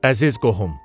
Əziz qohum.